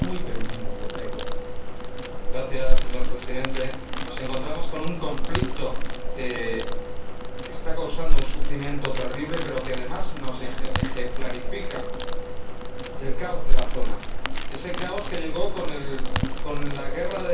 Señor Presidente, nos encontramos ante un conflicto que está causando un sufrimiento terrible pero que, además, nos ejemplifica el caos de la zona, ese caos que llegó con la guerra de delegación y con las intervenciones unilaterales.